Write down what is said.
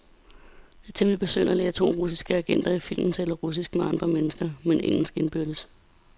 Det er temmeligt besynderligt, at de to russiske agenter i filmen taler russisk med andre mennesker, men engelsk indbyrdes.